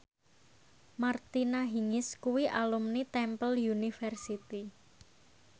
Martina Hingis kuwi alumni Temple University